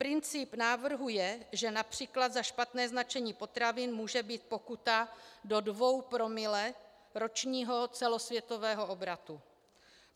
Princip návrhu je, že například za špatné značení potravin může být pokuta do dvou promile ročního celosvětového obratu.